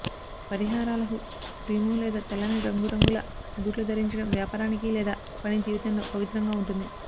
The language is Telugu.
పరిహారాలుః క్రీము లేదా తెల్లని రంగు రంగుల బూట్లు ధరించడం వ్యాపారానికి లేదా పని జీవితంలో పవిత్రంగా ఉంటుంది